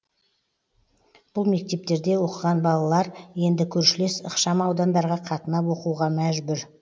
бұл мектептерде оқыған балалар енді көршілес ықшамаудандарға қатынап оқуға мәжбүр